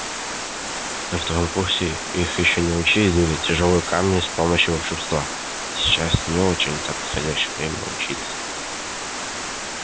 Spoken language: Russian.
на втором курсе их ещё не учили двигать тяжёлые камни с помощью волшебства и сейчас не очень-то подходящее время учиться